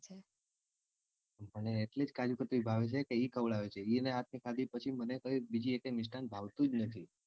મને કાજુકતરી ભાવે છે કે ઈ ખવડાવે છે ઇના હાથ ની ખાધી પછી મને બીજી એકેય મિસ્ટાન્ન ભાવતું જ નથી.